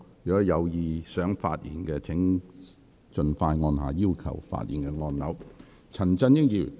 有意發言的委員，請盡早按下"要求發言"按鈕。